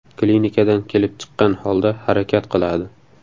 Klinikadan kelib chiqqan holda harakat qiladi.